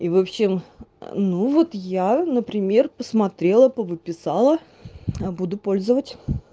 и в общем ну вот я например посмотрела по выписала буду пользовать